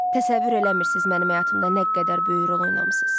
Təsəvvür eləmirsiniz, mənim həyatımda nə qədər böyük rol oynamısınız.